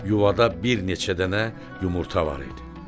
Yuvada bir neçə dənə yumurta var idi.